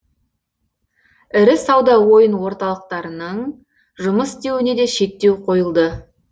ірі сауда ойын орталықтарының жұмыс істеуіне де шектеу қойылды